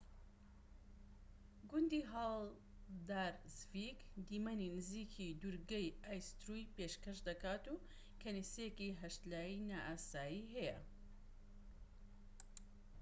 گوندی هاڵدارسڤیک دیمەنی نزیکی دوورگەی ئایستوری پێشکەش دەکات و کەنیسەیەکی هەشتلایی نائاسایی هەیە